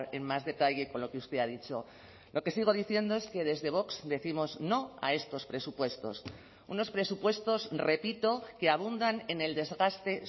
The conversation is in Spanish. en más detalle con lo que usted ha dicho lo que sigo diciendo es que desde vox décimos no a estos presupuestos unos presupuestos repito que abundan en el desgaste